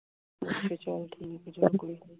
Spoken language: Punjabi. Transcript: ਚੱਲ ਠੀਕ ਹੈ ਚੱਲ ਕੋਈ ਨੀ